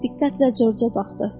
Diqqətlə Corca baxdı.